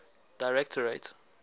directorate